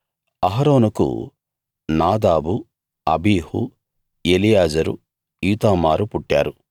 అహరోనుకు Nadab Abihu Eleazar Ithamar పుట్టారు